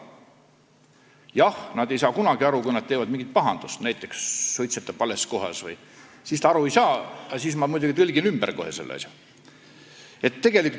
Jah, ta ei saa kunagi aru, kui ta on teinud mingit pahandust, näiteks suitsetanud vales kohas, siis ta aru ei saa, aga ma muidugi kohe tõlgin selle jutu.